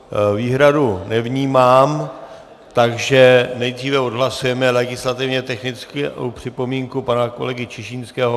Výhradu nevnímám, takže nejdříve odhlasujeme legislativně technickou připomínku pana kolegy Čižinského.